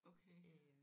Okay